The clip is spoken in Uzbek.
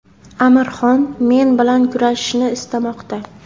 Amir Xon men bilan kurashishni istamoqda.